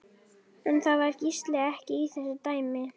En það var Gísli ekki í þessu dæmi.